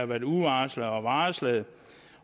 været uvarslede og varslede